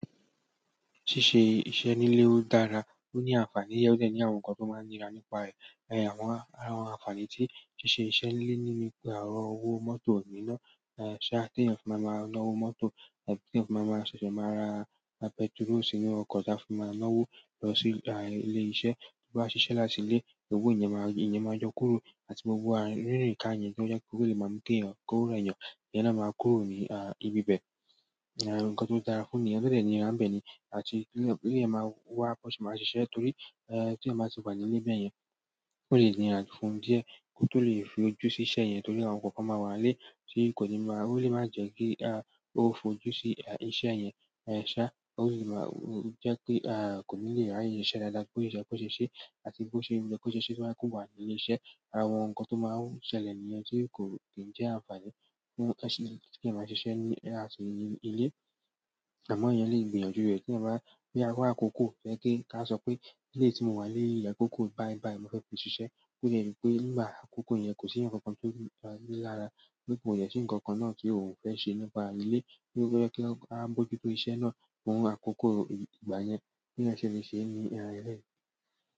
Ṣíṣe iṣẹ́ nílé ó dára, ó ní àǹfàní, ó dẹ̀ ní àwọn nǹkan tó máa ń nira nípa ẹ̀. Àwọn ara àwọn àǹfààní tí ṣíṣe iṣẹ́ nílé ni wípé oro owó mọ́tò nìínàn, ṣá ti ènìyàn fi máa máa náwó mọ́tò, tí ènìyàn fi máa máa ṣẹ̀ṣẹ̀ máa ra pẹtiró sínú ọkọ̀ tí a fi máa náwó lọ sí ilé iṣẹ́. Bí wọ́n bá ṣiṣẹ́ látìlẹ̀, owo iyẹn máa iyẹn máa yọ kúrò àti gbogbo rinrìn-ka yẹn tó jẹ́ kí ó lè máa mú ki eeyàn, kó rẹ eeyàn, ìyẹn náà máa kúrò ní à ibi bẹ. Nǹkan tó dára fún nìyen ohun to dẹ̀ nira n bẹ́ẹ̀ ni àti lè máa wá bi won se maa ṣise, torí tí eeyan báa ti wà nílé bẹ́ẹ̀yẹn, ò lè níirà fún díẹ̀ kí ó tó lè fi ojú sí iṣẹ́ yẹn torí àwọn nǹkan kan máa wà nílé o le ma je ki o fi ojú si iṣẹ́ yen ṣá, ó sì lè máa jẹ́ pé kò ní lè ráyè ṣiṣẹ́ dáadáa bí ó ṣe yẹ́ kò ṣe ṣé, àti bí ó ṣe ye kí ó ṣe ṣé toba je pe ó wà ní ilé iṣẹ́. Àwọn nǹkan tó máa ń ṣẹlẹ̀ nìyen tí kò kìí jẹ́ àǹfààní fún ki eeyan máa ṣiṣẹ́ ní àti ilé. Àmọ́ eeyàn lè gbìyànjú rẹ̀ tí eeyan bá wa akòkò tojẹ́ pe kí a sọ pé ìrú èyí tí mo wà nílé yi akòkò báyibáyi mo fẹ́ fi ṣiṣẹ́, tó jẹ́ wípé nígbà àkọ́kọ́ yẹn kò sí eeyan kankan tó ni lára ti kò dẹ sí ǹkankan náà tí òun fẹ́ ṣe nípa ilé, tó jẹ kí a bójútó iṣẹ́ náà fún àkoko ìgbà yẹn bí eeyan ṣe lè ṣe ní eléyii.